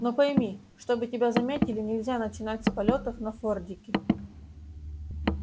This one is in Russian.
но пойми чтобы тебя заметили нельзя начинать с полётов на фордике